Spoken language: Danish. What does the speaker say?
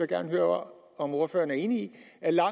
gerne høre om ordføreren er enig